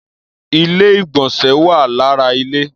Ilé-ìgbọ̀nsẹ̀ wà lára ilé.